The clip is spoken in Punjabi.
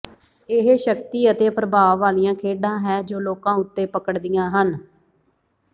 ਇਹ ਸ਼ਕਤੀ ਅਤੇ ਪ੍ਰਭਾਵ ਵਾਲੀਆਂ ਖੇਡਾਂ ਹੈ ਜੋ ਲੋਕਾਂ ਉੱਤੇ ਪਕੜਦੀਆਂ ਹਨ